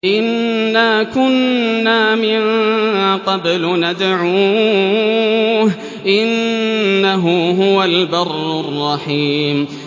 إِنَّا كُنَّا مِن قَبْلُ نَدْعُوهُ ۖ إِنَّهُ هُوَ الْبَرُّ الرَّحِيمُ